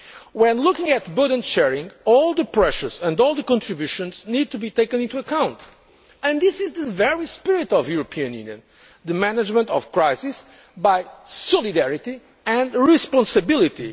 When looking at burden sharing, all the pressures and all the contributions need to be taken into account, and this is the very spirit of the European Union the management of crisis by solidarity and responsibility.